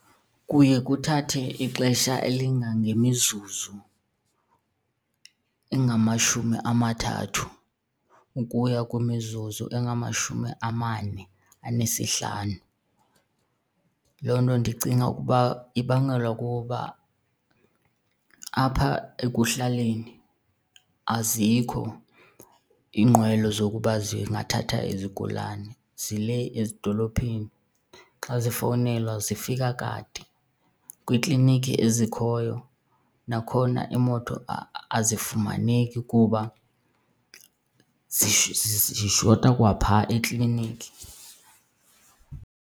Kuye kuthathe ixesha elingangemizuzu engamashumi amathathu ukuya kwimizuzu engamashumi amane anesihlanu. Loo nto ndicinga ukuba ibangelwa kukuba apha ekuhlaleni azikho iinqwelo zokuba zingathatha izigulane, zilee ezidolophini, xa zifowunelwa zifika kade. Kwiikliniki ezikhoyo nakhona iimoto azifumaneki kuba zishota kwaphaa ekliniki.